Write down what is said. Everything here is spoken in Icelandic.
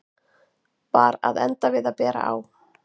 Var að enda við að bera á